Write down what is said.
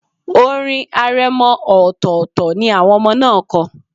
Orin aremọ ọltọ̀tọltọ̀ ni àwọn ọmọ náà kọ.